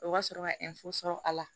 O ka sɔrɔ ka sɔrɔ a la